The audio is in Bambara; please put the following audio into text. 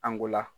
Angula